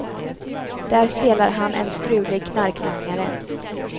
Där spelar han en strulig knarklangare.